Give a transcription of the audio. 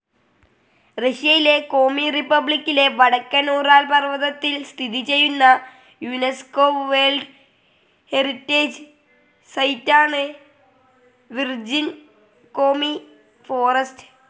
റഷ്യയിലെ കോമി റിപ്പബ്ലിക്കിലെ വടക്കൻ ഉറാൽ പർവ്വതത്തിൽ സ്ഥിതി ചെയ്യുന്ന യുനെസ്കോ വേർൽഡ്‌ ഹെറിറ്റേജ്‌ സൈറ്റാണ് വിർജിൻ കോമി ഫോറസ്റ്റ്